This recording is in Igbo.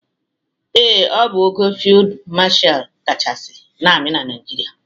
Ee, ọ bụ ogo Fịld Mashal kachasị n'amị Naịjịrịa.